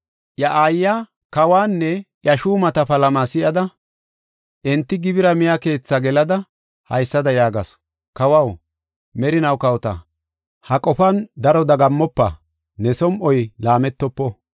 Iya aayiya, kawanne iya shuumata palama si7ada, enti gibira miya keethaa gelada, haysada yaagasu: “Kawaw, merinaw kawota! Ha qofan daro dagammofa; ne som7oy laametofo.